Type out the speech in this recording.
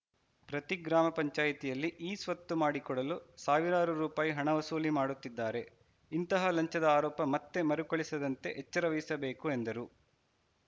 ಪ್ರತಿ ಗ್ರಾಮ ಪಂಚಾಯಿತಿಯಲ್ಲಿ ಇ ಸ್ವತ್ತು ಮಾಡಿಕೊಡಲು ಸಾವಿರಾರು ರೂಪಾಯಿ ಹಣ ವಸೂಲಿ ಮಾಡುತ್ತಿದ್ದಾರೆ ಇಂತಹ ಲಂಚದ ಆರೋಪ ಮತ್ತೆ ಮರುಕಳಿಸದಂತೆ ಎಚ್ಚರ ವಹಿಸಬೇಕು ಎಂದರು